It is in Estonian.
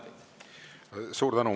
Suur tänu!